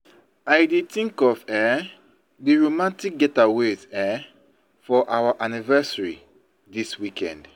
I dey tink of um di romantic getaway um for our anniversary dis weekend.